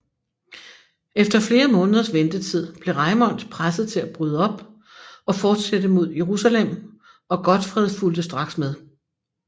Efter flere måneders ventetid blev Raimond presset til at bryde op og fortsætte mod Jerusalem og Godfred fulgte straks med